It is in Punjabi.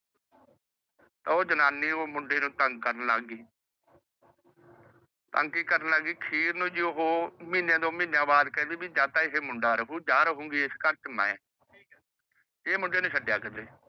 ਉਹ ਜਨਾਨੀ ਉਹ ਮੁੰਡੇ ਨੂੰ ਤੰਗ ਕਰਨ ਲੱਗ ਗਈ। ਤੰਗ ਕਿ ਕਰਨ ਲੱਗ ਗਈ ਅਖੀਰ ਨੂੰ ਉਹ ਕਹਿੰਦੀ ਜੀ ਜਾ ਤਾਂ ਇਸ ਘਰ ਚ ਮੁੰਡਾ ਰਾਹੂ ਜਾ ਰਹੂੰਗੀ ਮੈ। ਇਹ ਮੁੰਡੇ ਨੂੰ ਛੱਡਿਆ ਕਿੱਤੇ